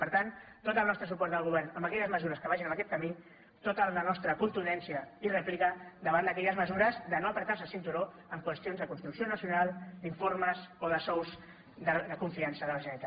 per tant tot el nostre suport al govern en aquelles mesures que vagin en aquest camí tota la nostra contundència i rèplica davant d’aquelles mesures de no estrènyer se el cinturó en qüestions de construcció nacional d’informes o de sous de confiança de la generalitat